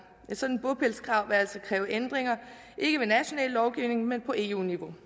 et sådant bopælskrav vil altså kræve ændringer ikke ved national lovgivning men på eu niveau